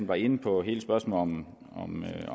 var inde på hele spørgsmålet